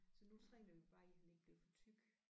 Så nu træner vi bare i han ikke bliver for tyk